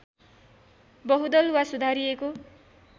बहुदल वा सुधारिएको